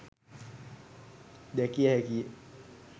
දැකිය හැකි ය.